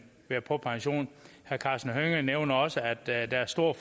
være på pension herre karsten hønge nævner også at der i dag er stor